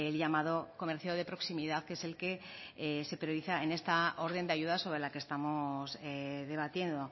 llamado comercio de proximidad que es el que se prioriza en esta orden de ayudas sobre la que estamos debatiendo